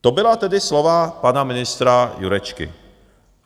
To byla tedy slova pana ministra Jurečky.